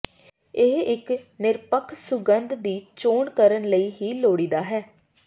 ਇਹ ਇੱਕ ਨਿਰਪੱਖ ਸੁਗੰਧ ਦੀ ਚੋਣ ਕਰਨ ਲਈ ਹੀ ਲੋੜੀਦਾ ਹੈ